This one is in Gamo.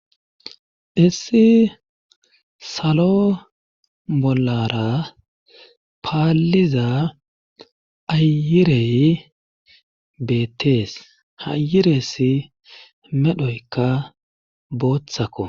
Issi salo bollara paalliza ayirey beettees hayiresi medhoyka booththakko